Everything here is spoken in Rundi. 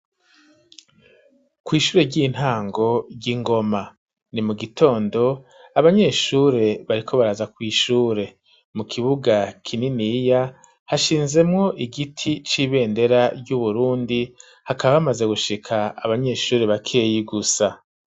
kw'ishure ry'intango ry'ingoma ni mu gitondo abanyeshure bariko baraza kw'ishure mu kibuga kininiya hashinzemwo igiti c'ibendera y'uburundi hakaba hamaze gushika abanyeshuri bakeyi gusa.